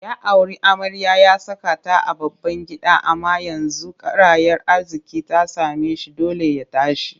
Ya auri amarya ya saka ta a babban gida amma yanzu karayar arziƙi ta same shi dole ya tashi